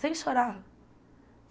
Sem chorar.